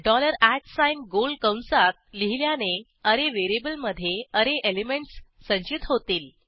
dollar गोल कंसात लिहिल्याने अरे व्हेरिएबलमधे अरे एलिमेंटस संचित होतील